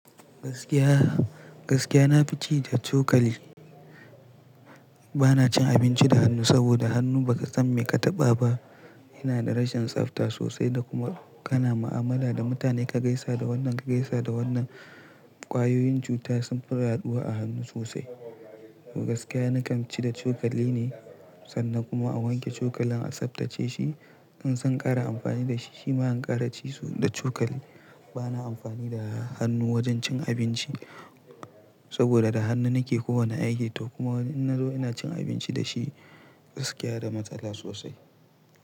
Gaskiya, gaskiya nafi ci da cokali. Bana cin abinci da hannu saboda hannu ba ka san me ka taɓa ba. Yana da rashin tsafta sosai da kuma kana ma'amala da mutane ka gaisa da wannan, ka gaisa da wannan. Kwayoyin cuta sunfi yaɗuwa a hannu sosai. Gaskiya na kan ci da cokali ne sannan kuma a wanke cokalin a tsaftace shi. In san ƙara amfani da shi shima in ƙara ci da cokali. Bana amfani da hannu wajen cin abinci saboda da hannu nike kowane aiki toh kuma in na zo ina cin abinci da shi, gaskiya da matsala sosai.